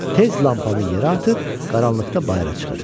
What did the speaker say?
Tez lampanı yerə atıb qaranlıqda bayıra çıxır.